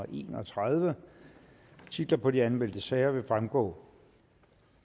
en og tredive titlerne på de anmeldte sager fremgå